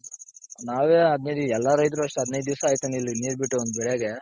ನಾವೇ ಎಲ್ಲಾ ರೈತರು ಅಷ್ಟೇ ಹದಿನೈದ್ ದಿಸ ಆಯ್ತು ಇಲ್ಲಿ ನೀರ್ ಬಿಟ್ಟು ಒಂದ್ ಬೆಳೆಗೆ